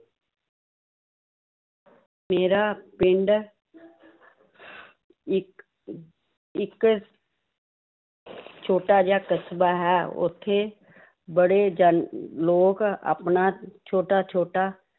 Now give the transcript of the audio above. ਮੇਰਾ ਪਿੰਡ ਇੱਕ ਇੱਕ ਛੋਟਾ ਜਿਹਾ ਕਸਬਾ ਹੈ ਉੱਥੇ ਬੜੇ ਜਨ~ ਲੋਕ ਆਪਣਾ ਛੋਟਾ ਛੋਟਾ